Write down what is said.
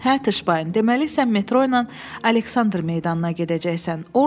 Hə, Tuşbay, deməli, sən metro ilə Aleksandr meydanına gedəcəksən.